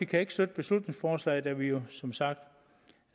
kan ikke støtte beslutningsforslaget da vi jo som sagt